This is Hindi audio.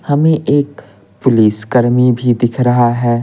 हमें एक पुलिस कर्मी भी दिख रहा है।